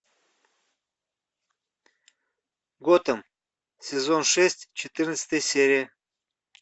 готэм сезон шесть четырнадцатая серия